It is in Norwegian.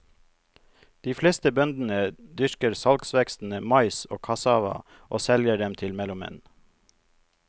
De fleste bøndene dyrker salgsvekstene mais og kassava og selger dem til mellommenn.